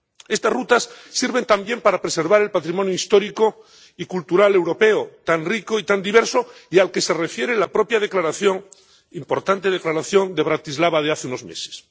Estas rutas sirven también para preservar el patrimonio histórico y cultural europeo, tan rico y tan diverso, y al que se refiere la propia declaración —importante declaración— de Bratislava de hace unos meses.